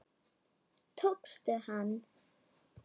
Tókstu hann?